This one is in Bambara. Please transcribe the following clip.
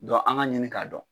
an ka ɲini k'a dɔn.